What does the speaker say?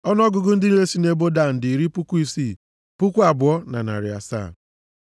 Ọnụọgụgụ ndị niile sị nʼebo Dan dị iri puku isii, puku abụọ na narị asaa (62,700).